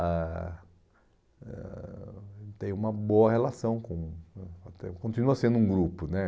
ah eh ah Ele tem uma boa relação com... ah até continua sendo um grupo, né?